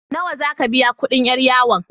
Nawa za ka biya kuɗin 'yar yawon?